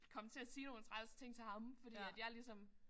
Komme til at sige nogle træls ting til ham fordi at jeg ligesom